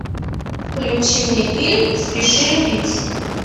включи мне фильм спеши любить